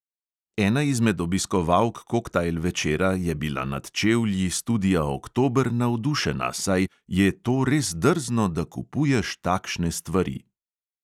Ena izmed obiskovalk koktajl večera je bila nad čevlji studia oktober navdušena, saj "je to res drzno, da kupuješ takšne stvari".